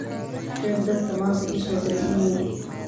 sheeg dadka maanta ii soo diray iimayl